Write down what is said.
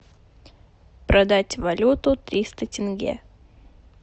продать валюту триста тенге